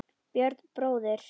Björn bróðir.